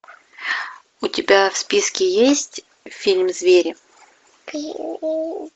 у тебя в списке есть фильм звери